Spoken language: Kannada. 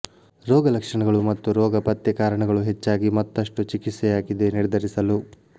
ರೋಗಲಕ್ಷಣಗಳು ಮತ್ತು ರೋಗ ಪತ್ತೆ ಕಾರಣಗಳು ಹೆಚ್ಚಾಗಿ ಮತ್ತಷ್ಟು ಚಿಕಿತ್ಸಯಾಗಿದೆ ನಿರ್ಧರಿಸಲು